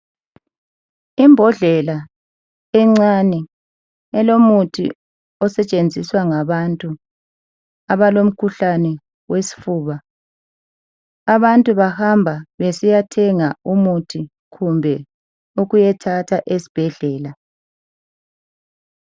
Imbodlela encane elomuthi osetshenziswa ngabantu abalomkhuhlane owesifuba. Abantu bahamba besiyathenga umuthi kumbe ukuyathatha esibhedlela .